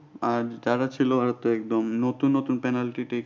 আর যারা ছিল হয়তো একদম নতুন নতুন penalty থেকে।